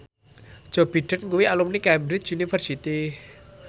Joe Biden kuwi alumni Cambridge University